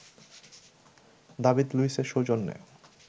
David লুইসের সৌজন্যে